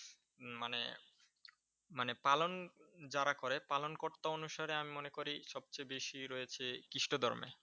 মানে মানে পালন যারা করে পালনকর্তা অনুসারে আমি মনে করি সবচেয়ে বেশি রয়েছে খ্রিস্ট ধর্মে ।